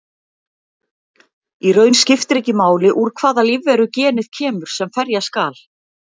Í raun skiptir ekki máli úr hvaða lífveru genið kemur sem ferja skal.